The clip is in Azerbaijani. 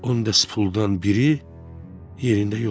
10 dəst puldan biri yerində yoxdur.